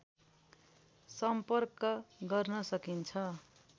सम्पर्क गर्न सकिन्छ